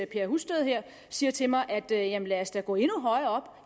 per husted her siger til mig jamen lad os da gå endnu højere